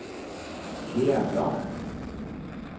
Thea Bloch